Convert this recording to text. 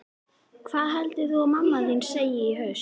Hvað heldurðu að hún mamma þín segi í haust?